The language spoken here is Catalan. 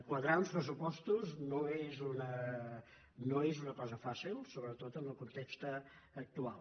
quadrar uns pressupostos no és una cosa fàcil sobretot en el context actual